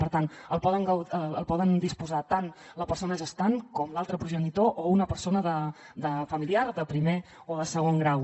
per tant poden disposar ne tant la persona gestant com l’altre progenitor o una persona familiar de primer o de segon grau